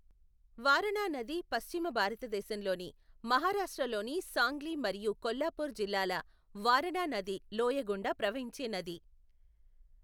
వారణా నది పశ్చిమ భారతదేశంలోని మహారాష్ట్రలోని సాంగ్లీ మరియు కొల్హాపూర్ జిల్లాల వారణా నది లోయ గుండా ప్రవహించే నది.